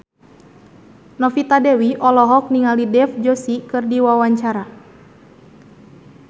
Novita Dewi olohok ningali Dev Joshi keur diwawancara